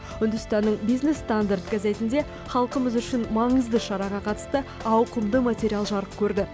үндістанның бинес стандард газетінде халқымыз үшін маңызды шараға қатысты ауқымды материал жарық көрді